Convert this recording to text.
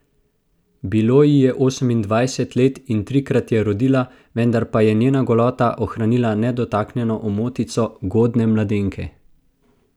Bilo ji je osemindvajset let in trikrat je rodila, vendar pa je njena golota ohranila nedotaknjeno omotico godne mladenke.